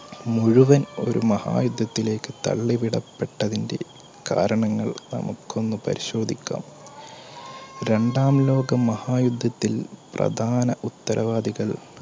മുഴുവൻ ഒരു മഹായുദ്ധത്തിലേക്ക് തള്ളിവിടപ്പെട്ടതിന്റെകാരണങ്ങൾ നമുക്കൊന്ന് പരിശോധിക്കാം. രണ്ടാം ലോകമഹായുദ്ധത്തിൽ പ്രധാന ഉത്തരവാദികൾ